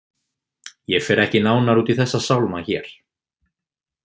Ég fer ekki nánar út í þessa sálma hér.